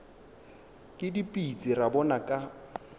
ke dipitsi ra bona ka